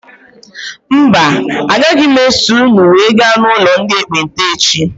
Mba agaghị m eso ụnụ wee gaa n' ụlọ ndị ekpenta echi.